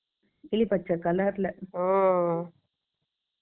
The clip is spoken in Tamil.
கிளி பச்சை colour ல